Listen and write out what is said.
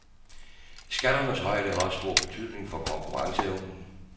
Skatternes højde har også stor betydning for konkurrenceevnen.